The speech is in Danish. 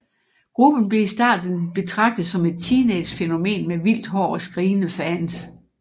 Gruppen blev i starten betragtet som et teenagefænomen med vildt hår og skrigende fans